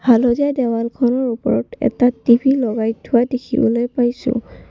হালধীয়া দেৱালখনৰ ওপৰত এটা টি_ভি লগাই থোৱা দেখিবলৈ পাইছোঁ।